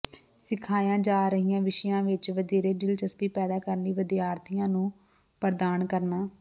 ਸਿਖਾਈਆਂ ਜਾ ਰਹੀਆਂ ਵਿਸ਼ਿਆਂ ਵਿੱਚ ਵਧੇਰੇ ਦਿਲਚਸਪੀ ਪੈਦਾ ਕਰਨ ਲਈ ਵਿਦਿਆਰਥੀਆਂ ਨੂੰ ਪ੍ਰਦਾਨ ਕਰਨਾ